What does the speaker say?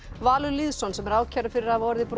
Valur Lýðsson sem er ákærður fyrir að hafa orðið bróður